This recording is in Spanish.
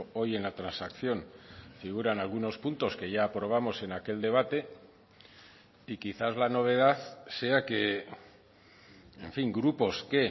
hoy en la transacción figuran algunos puntos que ya aprobamos en aquel debate y quizás la novedad sea que en fin grupos que